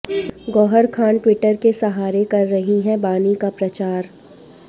Gauhar Khan Twitter के सहारे कर रही हैं बानी का प्रचार